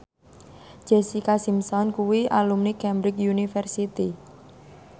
Jessica Simpson kuwi alumni Cambridge University